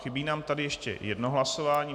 Chybí nám tady ještě jedno hlasování.